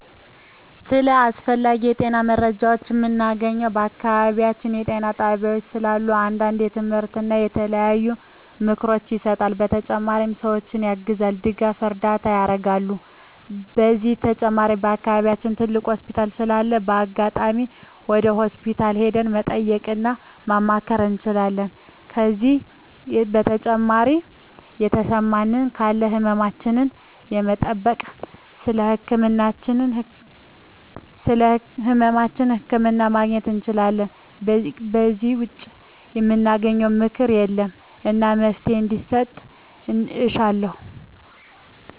ስለ አስፈላጊ የጤና መረጃዎችን ምናገኘው በአካባቢያችን ጤና ጣቤያዎች ስላሉ አንዳንዴ ትምህርቶች እና የተለያዩ ምክሮች ይሰጣሉ በተጨማሪ ሰዎችን ያግዛሉ ድጋፍና እርዳታ ያረጋሉ ከዚህ በተጨማሪ በአከባቢያችን ትልቅ ሆስፒታል ስላለ በአጋጣሚ ወደ ሆስፒታል ሄደን መጠየቅ እና ማማከር እንችላለን ከዜ በተጨማሪ የተሰማን ካለ ህመማችን በመጠየክ ስለህመማችን ህክምና ማግኘት እንችላለን ከዜ ውጭ ምናገኝበት ምክኛት የለም እና መፍትሔ እንዲሰጥ እሻለሁ